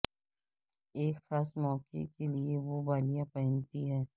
ایک خاص موقع کے لئے وہ بالیاں پہنتی ہے